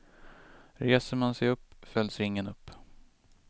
Reser man sig upp, fälls ringen upp.